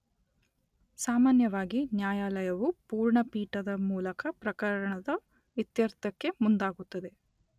ಸಾಮಾನ್ಯವಾಗಿ ನ್ಯಾಯಾಲಯವು ಪೂರ್ಣ ಪೀಠದ ಮೂಲಕ ಪ್ರಕರಣದ ಇತ್ಯರ್ಥಕ್ಕೆ ಮುಂದಾಗುತ್ತದೆ.